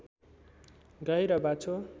गाई र बाछो